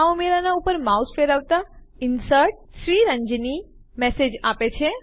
આ ઉમેરાનાં ઉપર માઉસ ફેરવતા Inserted શ્રીરંજની મેસેજ આપે છે